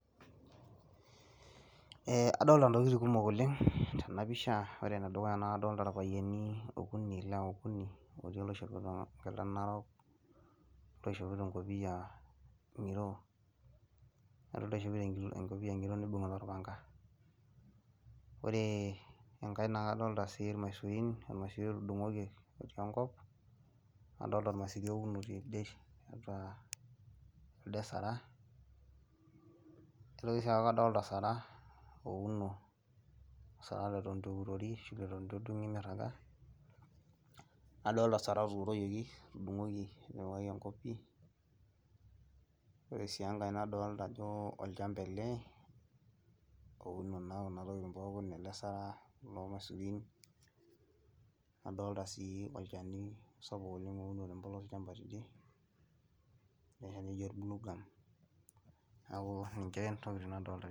Adolita inatoki kumuk oleng tena pisha ,wore enedukua naa kadolita irpayiani okuni , ilewa okuni , etii oloishopito enkila narok ,oloishopito enkopiyia ngiro nibungita orpanga . Wore engai naa kadolita sii irmaisurin ormasuri ootungoki otii enkop ,nadoolita ormasuri ouno tidie cs ata cs elde saraa , nitoki sii aaku kadolita osaraa leton itu eurori ashu leton itu edungi miragaa ,na adolita osaraa oturoyoki, otudungoki etipikaki enkop pii , wore sii engai naadolita ajo olchampa ele ouno naa kuna tokiting pookin ele saraa , irmaisurin naa dolita sii olchani sapuku oleng ouno tempolos olchampa tidie , niaku niche inatoki nadoolita.